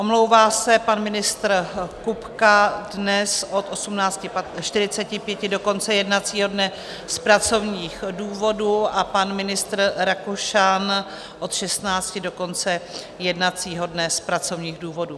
Omlouvá se pan ministr Kupka dnes od 18.45 do konce jednacího dne z pracovních důvodů a pan ministr Rakušan od 16 do konce jednacího dne z pracovních důvodů.